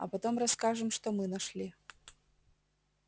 а потом расскажем что мы нашли